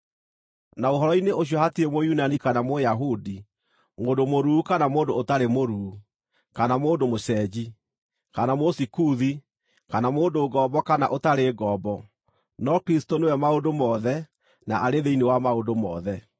Na ũhoro-inĩ ũcio hatirĩ Mũyunani kana Mũyahudi, mũndũ mũruu kana mũndũ ũtarĩ mũruu, kana mũndũ mũcenji, kana Mũsikuthi, kana mũndũ ngombo kana ũtarĩ ngombo, no Kristũ nĩwe maũndũ mothe, na arĩ thĩinĩ wa maũndũ mothe.